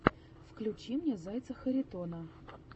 включи мне зайца харитона